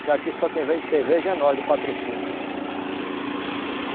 Porque aqui só quem vende cerveja é nós, do patrocínio.